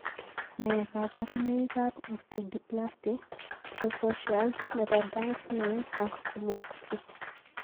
Nee kabarunoikab Osteodysplasty precocious nebo Danks Mayne ak Kozlowski?